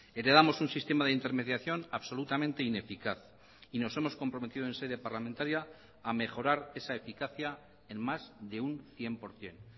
heredamos un sistema de intermediación absolutamente ineficaz y nos hemos comprometido en sede parlamentaria a mejorar esa eficacia en más de un cien por ciento